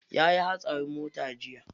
Yayi hatsarin mota jiya.